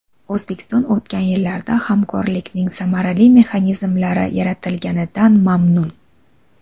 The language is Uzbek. O‘zbekiston o‘tgan yillarda hamkorlikning samarali mexanizmlari yaratilganidan mamnun.